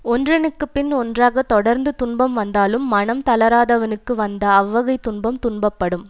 ஒன்றனுக்குப் பின் ஒன்றாக தொடர்ந்து துன்பம் வந்தாலும் மனம் தளராதவனுக்கு வந்த அவ்வகைத் துன்பம் துன்பப்படும்